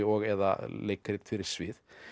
eða leikrit fyrir svið